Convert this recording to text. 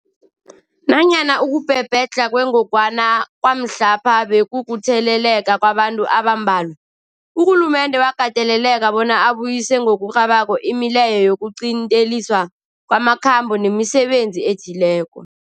Nanyana ukubhebhedlha kwengogwana kwamhlapha bekukutheleleka kwabantu abambalwa, urhulumende wakateleleka bona abuyise ngokurhabako imileyo yokuqinteliswa kwamakhambo nemisebenzi ethileko.